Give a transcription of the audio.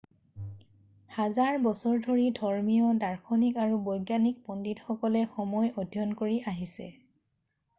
হাজাৰ বছৰ ধৰি ধৰ্মীয় দাৰ্শনিক আৰু বৈজ্ঞানিক পণ্ডিতসকলে সময় অধ্যয়ন কৰি আহিছে